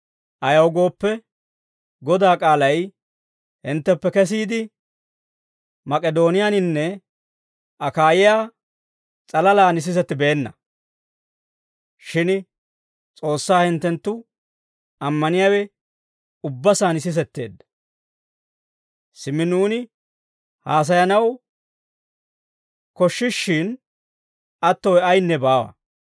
Ayaw gooppe, Godaa k'aalay hintteppe kesiide, Mak'idooniyaaninne Akaayiyaa s'alalaan sisettibeenna; shin S'oossaa hinttenttu ammaniyaawe ubba saan sisetteedda. Simmi nuuni haasayanaw koshshishshin attowe ayinne baawa.